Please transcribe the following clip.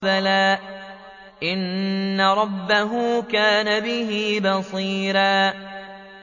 بَلَىٰ إِنَّ رَبَّهُ كَانَ بِهِ بَصِيرًا